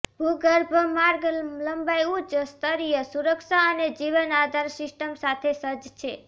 ભૂગર્ભ માર્ગ લંબાઈ ઉચ્ચ સ્તરીય સુરક્ષા અને જીવન આધાર સિસ્ટમ સાથે સજ્જ છે